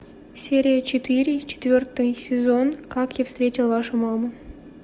серия четыре четвертый сезон как я встретил вашу маму